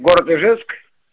город ижевск